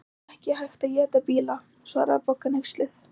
Það er nú ekki hægt að éta bíla svaraði Bogga hneyksluð.